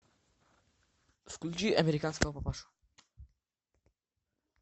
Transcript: включи американского папашу